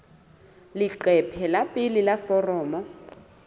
leqephe la pele la foromo